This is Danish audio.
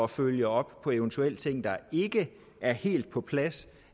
følge op på eventuelle ting der ikke er helt på plads